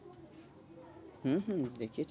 হম হম দেখিয়েছি।